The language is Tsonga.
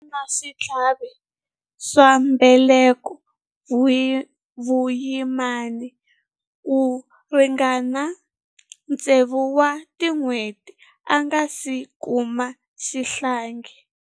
A ri na switlhavi swa mbeleko vuyimani ku ringana tsevu wa tiawara a nga si kuma xihlangi.